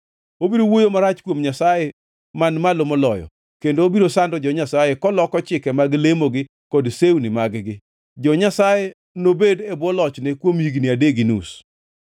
Obiro wuoyo marach kuom Nyasaye Man Malo Moloyo kendo obiro sando jo-Nyasaye koloko chike mag lemogi kod sewni mag-gi. Jo-Nyasaye nobed e bwo lochne kuom higni adek gi nus.